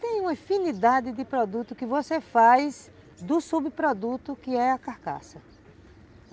Tem uma infinidade de produtos que você faz do subproduto que é a carcaça.